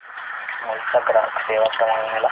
अमूल चा ग्राहक सेवा क्रमांक मला सांगतेस का